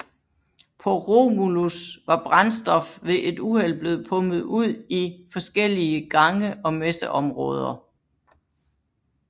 PåRomulus var brændstof ved et uheld blevet pumpet ud i forskellige gange og messeområder